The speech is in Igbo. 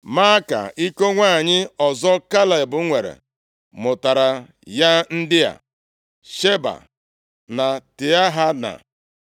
Maaka, iko nwanyị ọzọ Kaleb nwere mụtaara ya ndị a: Sheba na Tiahana,